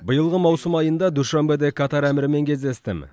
биылғы маусым айында душанбеде катар әмірімен кездестім